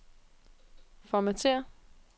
formatér